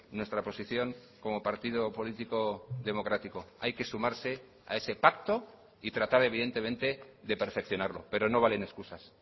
nuestra posición como partido político democrático hay que sumarse a ese pacto y tratar evidentemente de perfeccionarlo pero no valen excusas